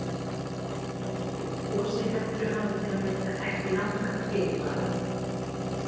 Gos í Heklu hafa til að mynda ekki langan fyrirvara.